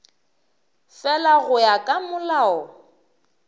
fela go ya ka molao